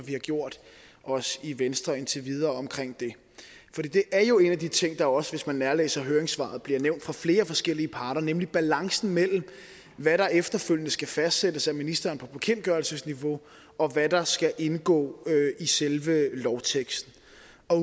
vi har gjort os i venstre indtil videre omkring det for det er jo en af de ting der også hvis man nærlæser høringssvaret bliver nævnt fra flere forskellige parter nemlig balancen mellem hvad der efterfølgende skal fastsættes af ministeren på bekendtgørelsesniveau og hvad der skal indgå i selve lovteksten